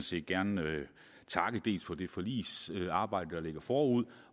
set gerne takke dels for det forligsarbejde der går forud